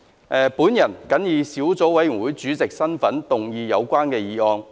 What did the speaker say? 我謹以小組委員會主席的身份，動議有關議案。